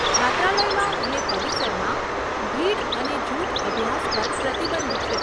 છાત્રાલયમાં અને પરિસરમાં ભીડ અને જૂથ અભ્યાસ પર પ્રતિબંધ છે.